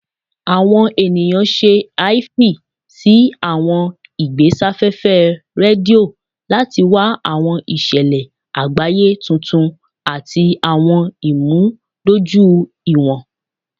Awọn eniyan ṣe aifwy si awọn igbesafefe redio lati wa awọn iṣẹlẹ agbaye tuntun ati awọn imudojuiwọn.